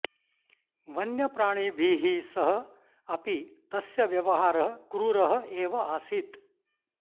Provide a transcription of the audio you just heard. वन्यप्राणिभिः सह अपि तस्य व्यवहारः क्रूरः एव आसीत्